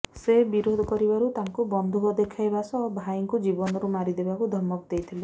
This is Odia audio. ସେ ବିରୋଧ କରିବାରୁ ତାଙ୍କୁ ବନ୍ଧୁକ ଦେଖାଇବା ସହ ଭାଇଙ୍କୁ ଜୀବନରୁ ମାରି ଦେବାକୁ ଧମକ ଦେଇଥିଲେ